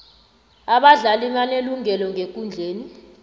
abadlali banelungelo ngekundleni